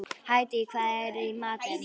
Hædý, hvað er í matinn?